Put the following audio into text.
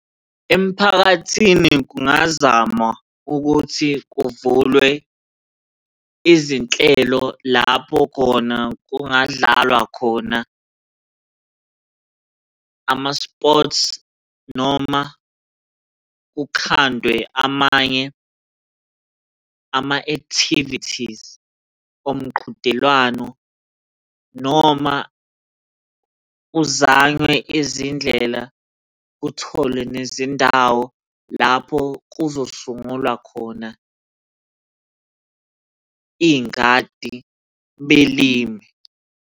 Emphakathini kungazamwa ukuthi kuvulwe izinhlelo lapho khona kungadlalwa khona ama-sports noma kukhandwe amanye ama-activities omqhudelwano noma kuzanywe izindlela kutholwe nezindawo lapho kuzosungulwa khona iy'ngadi belime.